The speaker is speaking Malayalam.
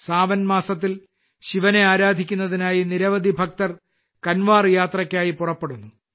സാവൻമാസത്തിൽ ശിവനെ ആരാധിക്കുന്നതിനായി നിരവധി ഭക്തർ കൻവാർ യാത്രയ്ക്കായി പുറപ്പെടുന്നു